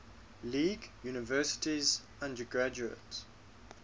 league universities undergraduate